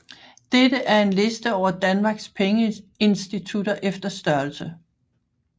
Dette er en liste over Danmarks pengeinstitutter efter størrelse